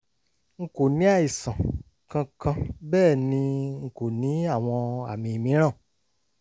n kò ní àìsàn kankan bẹ́ẹ̀ ni n kò ní àwọn àmì mìíràn